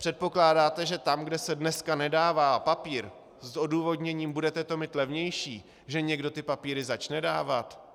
Předpokládáte, že tam, kde se dneska nedává papír s odůvodněním "budete to mít levnější", že někdo ty papíry začne dávat?